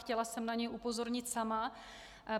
Chtěla jsem na něj upozornit sama.